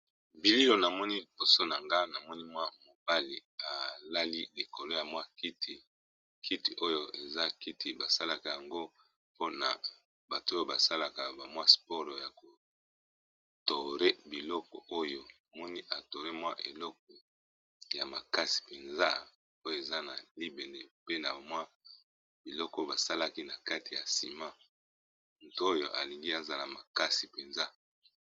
Bililo na moni boso na nga na moni mwa mobali alali likolo ya mwa kiti kiti oyo eza kiti basalaka yango mpona bato oyo basalaka bamwa sporo ya kotore biloko oyo moni atore mwa eloko ya makasi mpenza oyo eza na libane pe na bamwa biloko basalaki na kati ya nsima nto oyo alingi aza na makasi mpenza.